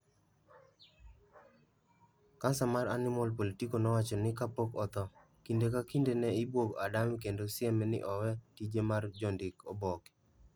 Kansa mar Animal Político nowacho ni kapok otho, kinde ka kinde ne ibwogo Adame kendo sieme ni owe tije mar jondik oboke.